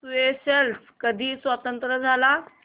Seychelles कधी स्वतंत्र झाला